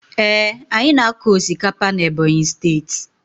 Ee, anyị na-akọ osikapa n'Ebonyi steeti.